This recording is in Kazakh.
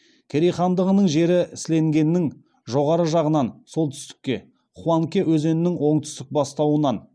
керей хандығының жері селенгінің жоғарғы жағынан солтүстікте хуанке өзенінің оңтүстік бастауынан